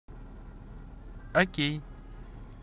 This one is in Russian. окей